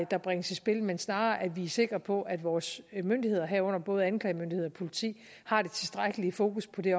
der bringes i spil men snarere at vi er sikre på at vores myndigheder herunder både anklagemyndighed og politi har det tilstrækkelige fokus på det